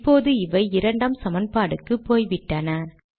இப்போது இவை இரண்டாம் சமன்பாட்டுக்கு போய்விட்டன